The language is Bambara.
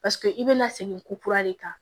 Paseke i bɛna segin ko kura de kan